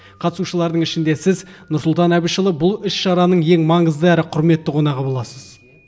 қатысушылардың ішінде сіз нұрсұлтан әбішұлы бұл іс шараның ең маңызды әрі құрметті қонағы боласыз